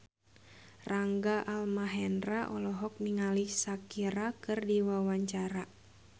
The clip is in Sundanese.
Rangga Almahendra olohok ningali Shakira keur diwawancara